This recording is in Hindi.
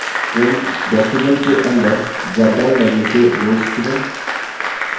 print documentके अंदर dropdown menu से notes चुनें